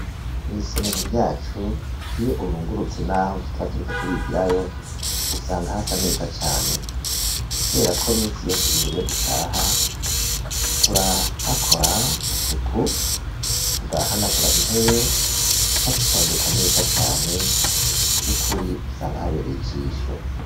Mw'isomero ryacu, iyo urungurutse, n'aho tutaba, turiko turigirayo, usanga hasa neza cane; kubera ko, minsi yose, imbere yo dutaha, turahakora isuku, tugahanagura intebe, tukazitondeka neza cane; vy'ukuri, usanga habereye ijisho.